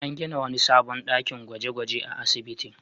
An gina wani sabon dakin gwaje-gwaje a asibitin.